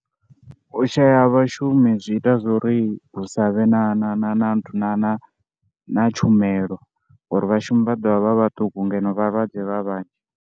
U shaya ha vhashumi zwi ita zwo ri hu sa vhe na na na na na na na tshumelo ngori vhashumi vha ḓo vha vha vhaṱuku ngeno vhalwadze vha vhanzhi.